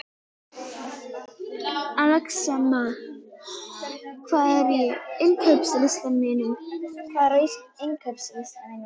Axelma, hvað er á innkaupalistanum mínum?